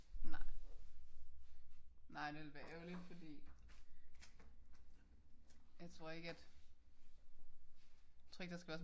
Nej nej det ville være ærgerligt fordi jeg tror ikke at tror ikke der skal være så meget